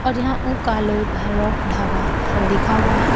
और यहां वो काल भैरव ढाबा लिखा हुआ है।